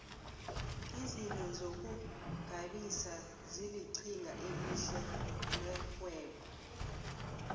izinto zokugabisa zilinqhinga elihle lerhwebo